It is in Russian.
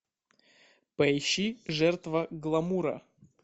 поищи жертва гламура